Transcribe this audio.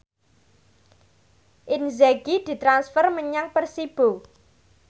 Inzaghi ditransfer menyang Persibo